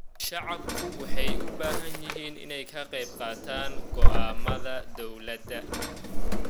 Shacabku waxay u baahan yihiin inay ka qaybqaataan go'aamada dawladda.